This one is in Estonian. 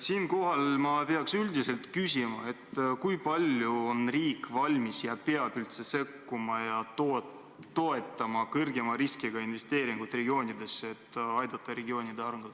Siinkohal ma pean küsima, kui palju on riik valmis sekkuma ning üldse peab sekkuma ja toetama suurema riskiga investeeringuid regioonidesse, et aidata nende arengut.